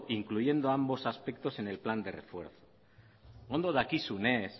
incluyendo ambos aspectos en el plan de refuerzo ondo dakizunez